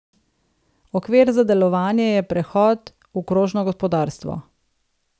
Okvir za delovanje je prehod v krožno gospodarstvo.